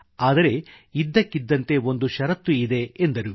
ಆದರೆ ಇದ್ದಕ್ಕಿದ್ದಂತೆ ಒಂದು ಶರತ್ತು ಇದೆ ಎಂದರು